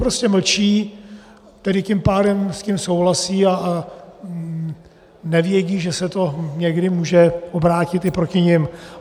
Prostě mlčí, tedy tím pádem s tím souhlasí a nevědí, že se to někdy může obrátit i proti nim.